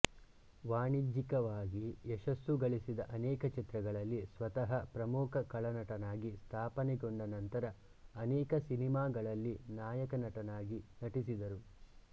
ವಾಣಿಜ್ಯಿಕವಾಗಿ ಯಶಸ್ಸು ಗಳಿಸಿದ ಅನೇಕ ಚಿತ್ರಗಳಲ್ಲಿ ಸ್ವತಃ ಪ್ರಮುಖ ಖಳನಟನಾಗಿ ಸ್ಥಾಪನೆಗೊಂಡ ನಂತರ ಅನೇಕ ಸಿನೆಮಾಗಳಲ್ಲಿ ನಾಯಕನಟನಾಗಿ ನಟಿಸಿದರು